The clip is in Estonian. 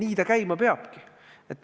Nii ta käima peabki.